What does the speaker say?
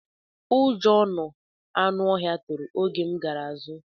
Ụjọ nọ anụ ọhịa tụrụ oge m gara zụ